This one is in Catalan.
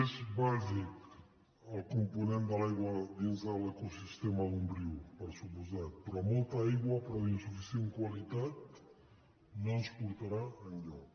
és bàsic el component de l’aigua dins de l’ecosistema d’un riu per descomptat però molta aigua però d’insuficient qualitat no ens portarà enlloc